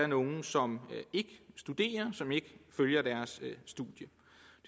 nogle som ikke studerer og som ikke følger deres studium